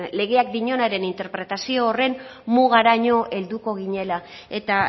legeak dionaren interpretazio horren mugaraino helduko ginela eta